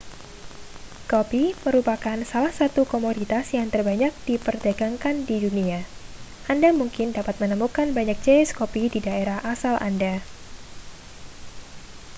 kopi merupakan salah satu komoditas yang terbanyak diperdagangkan di dunia anda mungkin dapat menemukan banyak jenis kopi di daerah asal anda